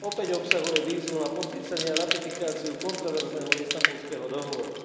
Opäť obsahuje výzvu na podpísanie a ratifikáciu kontroverzného Istanbulského dohovoru.